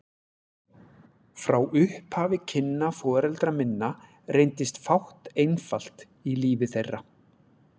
Frá upphafi kynna foreldra minna reyndist fátt einfalt í lífi þeirra.